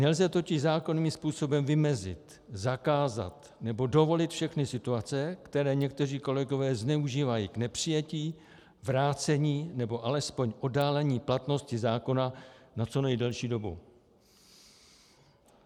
Nelze totiž zákonným způsobem vymezit, zakázat nebo dovolit všechny situace, které někteří kolegové zneužívají k nepřijetí, vrácení nebo alespoň oddálení platnosti zákona na co nejdelší dobu.